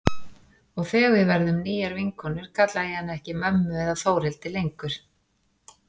Og þegar við verðum nýjar vinkonur kalla ég hana ekki mömmu eða Þórhildi lengur.